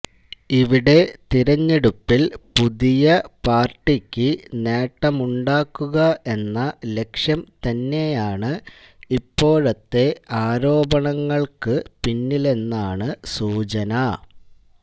ഇവിടെ തിരഞ്ഞെടുപ്പിൽ പുതിയ പാർട്ടിക്ക് നേട്ടമുണ്ടാക്കുക എന്ന ലക്ഷ്യം തന്നെയാണ് ഇപ്പോഴത്തെ ആരോപണങ്ങൾക്ക പിന്നിലെന്നാണ് സൂചന